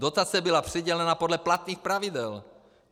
Dotace byla přidělena podle platných pravidel.